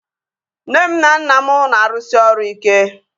Nne m na nna m na-arụsi ọrụ ike